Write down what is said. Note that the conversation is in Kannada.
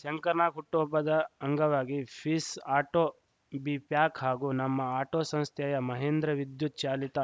ಶಂಕರ್‌ನಾಗ್‌ ಹುಟ್ಟುಹಬ್ಬದ ಅಂಗವಾಗಿ ಪೀಸ್‌ ಆಟೋ ಬಿಪ್ಯಾಕ್‌ ಹಾಗೂ ನಮ್ಮ ಆಟೋ ಸಂಸ್ಥೆಯ ಮಹೇಂದ್ರ ವಿದ್ಯುತ್‌ ಚಾಲಿತ